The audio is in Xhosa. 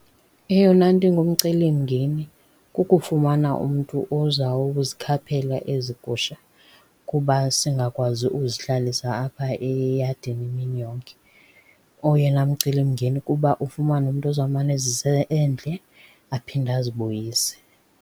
Eyona nto ingumcelimngeni kukufumana umntu oza kuzikhaphela ezi gusha kuba singakwazi uzihlalisa apha eyadini imini yonke. Oyena mcelimngeni kuba ufumane umntu ozawumane ezisa endle aphinde azibuyise.